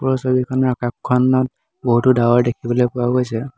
উক্ত ছবিখনত আকাশখনত বহুতো ডাৱৰ দেখিবলৈ পোৱা গৈছে।